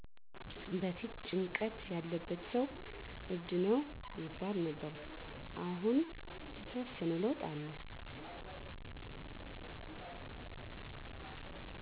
በፊት ጭንቀት ያለበት ሰው እብድ ነው ይባል ነበር አሁን የተወሰነ ለውጥ አለ